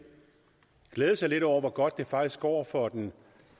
glæde sig lidt over hvor godt det faktisk går for den